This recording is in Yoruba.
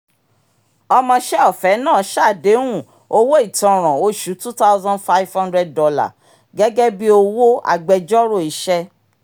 ọmọṣẹ́-ọ̀fẹ́ náà ṣàdéhùn owó ìtanràn oṣù $ two thousand five hundred gẹ́gẹ́ bí owó agbẹjọ́rò iṣẹ́